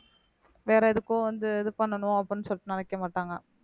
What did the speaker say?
வேற எதுக்கோ வந்து இது பண்ணனும் அப்படீன்னு சொல்லிட்டு நினைக்க மாட்டாங்க